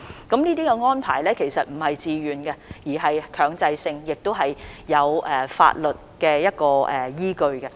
這些安排並非自願的，而是強制的檢疫安排，都是有法律依據的。